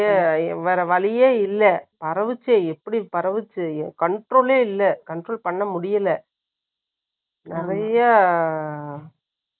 வேற வழியே இல்லை. பரவுச்சே, எப்படி பரவுச்சே? என் control ஏ இல்லை பண்ண முடியலை. நிறைய